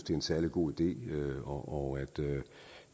særlig god idé og